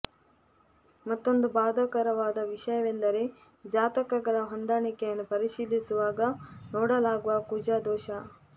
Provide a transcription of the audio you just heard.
ಮತ್ತೊಂದು ಬಾಧಕರವಾದ ವಿಷಯವೆಂದರೆ ಜಾತಕಗಳ ಹೊಂದಾಣಿಕೆಯನ್ನು ಪರಿಶೀಲಿಸುವಾಗ ನೋಡಲಾಗುವ ಕುಜ ದೋಷ